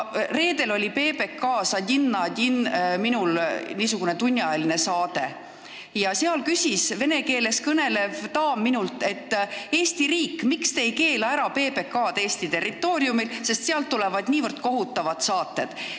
Reedel oli mul Raadio 4 saates "Odin na odin" tunniajaline intervjuu, kus vene keeles kõnelev daam küsis minult, miks ei keela Eesti riik PBK-d ära Eesti territooriumil, sest sealt tulevad niivõrd kohutavad saated.